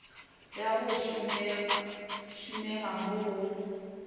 ya go tsomega mo go